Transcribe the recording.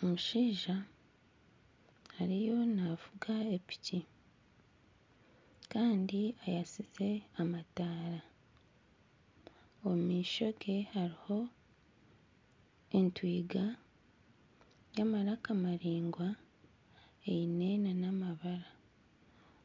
Omushaija ariyo navuga epiki Kandi ayakize amataara. Omu maisho ge hariho entwiga y'amaraka maringwa eine nana amabara.